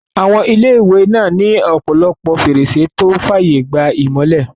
Àwọn ilé-ìwé náà ní ọ̀pọ̀lọpọ̀ fèrèsé tó n fààyè gba ìmọ́lẹ̀